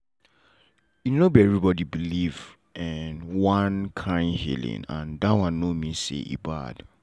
e no be everybody believe um one kind healing and that no mean say e bad.